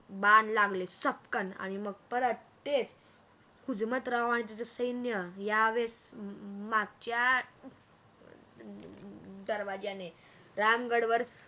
बाण लागले सपकण आणि मग परत तेच, हुजमतराव आणि त्याच सैन्य या वेळेस मागच्या दरवाज्याने राम गडवर